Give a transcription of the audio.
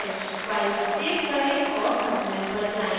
file को save करें और terminal पर जाएँ